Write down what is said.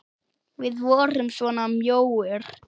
Við vorum svona mjóir!